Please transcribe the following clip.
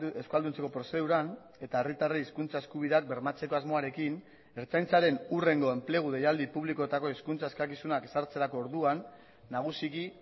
euskalduntzeko prozeduran eta herritarrei hizkuntza eskubideak bermatzeko asmoarekin ertzaintzaren hurrengo enplegu deialdi publikoetako hizkuntza eskakizunak ezartzerako orduan nagusiki